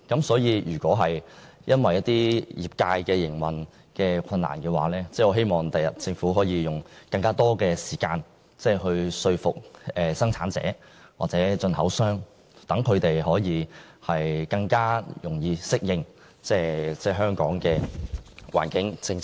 所以，如果張貼標籤對業界造成營運上的困難，我希望政府日後可以多花時間說服生產者或進口商，讓他們更容易適應香港的環境政策。